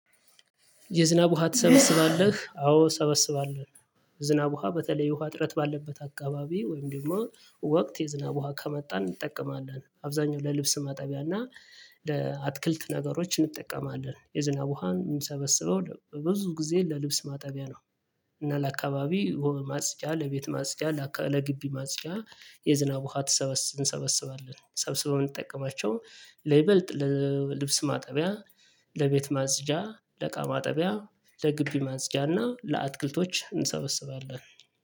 የዝናብ ውሃ ትሰበስባለህ አዎ እሰበስባሎው። ዝናብ ውሃ በተለይ ውሃ እጥረት ባለበት አካባቢ ወይም ደግሞ ወቅት የዝናብ ውሃ ከመጣ እንጠቀማለን አብዛኛው ለልብስ ማጠቢያና ለአትክልት ነገሮች እንጠቀማለን የዝናብ ውሃን የምንሰበስበው ብዙ ጊዜ ለልብስ ማጠቢያ ነው። እና ለአካባቢ ማጽጃ ለቤት ማጽጃ ለግቢ ማጽጃ የዝናብ ውሃ ትሰበስን እንሰበስባለን ሰብስበን የምንጠቀማቸው ለይበልጥ ለልብስ ማጠቢያ ለቤት ማጽጃ ለእቃ ማጠቢያ ለግቢ ማጽጃና ለአትክልቶች እንሰበስባለን